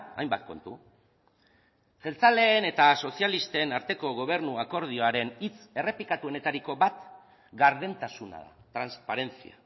hainbat kontu jeltzaleen eta sozialisten arteko gobernu akordioaren hitz errepikatuenetariko bat gardentasuna transparencia